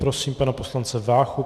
Prosím pana poslance Váchu.